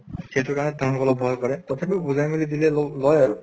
সেইটো কাৰণে তেওঁলোকে অলপ ভয় কৰে। তথাপিও বুজাই মেলি দিলে অলপ লয় আৰু।